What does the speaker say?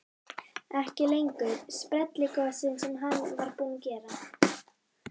Ekki lengur sprelligosinn sem hann var búinn að vera.